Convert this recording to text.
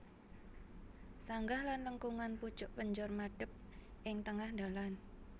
Sanggah lan lengkungan pucuk penjor madhep ing tengah dhalan